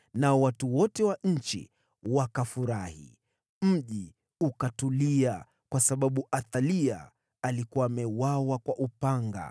nao watu wote wa nchi wakafurahi. Mji ukatulia kwa sababu Athalia alikuwa ameuawa kwa upanga.